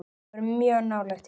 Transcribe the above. Dagar fjórtán